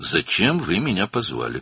Məni niyə çağırdınız?